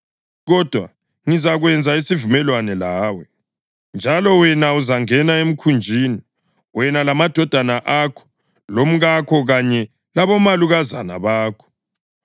Kodwa ngizakwenza isivumelwano lawe, njalo wena uzangena emkhunjini, wena lamadodana akho lomkakho kanye labomalukazana bakho.